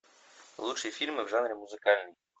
лучшие фильмы в жанре музыкальный